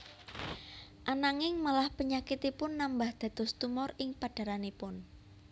Ananging malah penyakitipun nambah dados tumor ing padhaharanipun